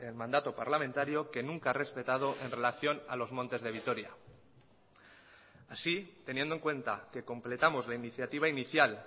mandato parlamentario que nunca ha respetado en relación a los montes de vitoria así teniendo en cuenta que completamos la iniciativa inicial